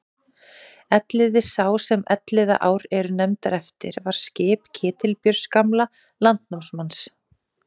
Elliði sá sem Elliðaár eru nefndar eftir var skip Ketilbjörns gamla landnámsmanns.